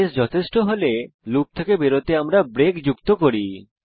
case যথেষ্ট হলে loop থেকে বেরোতে আমরা ব্রেক যুক্ত করি